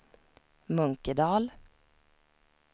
Munkedal